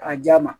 A ja ma